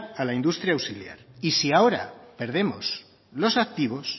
a la industria auxiliar y si ahora perdemos los activos